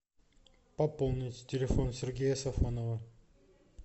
пополнить телефон сергея сафонова